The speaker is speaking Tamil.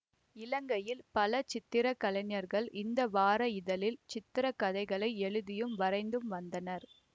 இலங்கையில் பல சித்திர கலைஞர்கள் இந்த வார இதழில் சித்திர கதைகளை எழுதியும் வரைந்தும் வந்தனர்